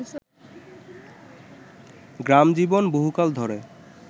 গ্রামজীবন বহুকাল ধরে